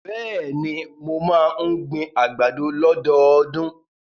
Bẹ́ẹ̀ni, mo máa ń gbin àgbàdo lọ́dọọdún.